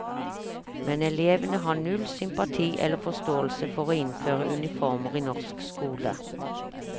Men elevene har null sympati eller forståelse for å innføre uniformer i norsk skole.